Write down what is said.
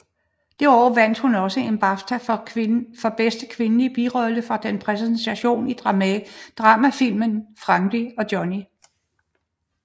Det år vandt hun også en BAFTA for bedste kvindelige birolle for sin præstation i dramafilmen Frankie og Johnny